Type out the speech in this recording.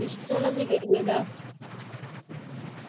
ഇഷ്ടം ഉള്ള ബിരിയാണ്യെതാ?